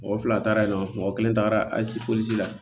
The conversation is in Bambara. Mɔgɔ fila taara yen nɔ mɔgɔ kelen tagara ali pɔsi la